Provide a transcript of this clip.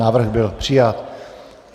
Návrh byl přijat.